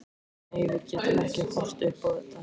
Nei, við getum ekki horft upp á þetta.